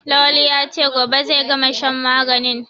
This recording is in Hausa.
Lawali ya ce "gobe zai gama shan maganin"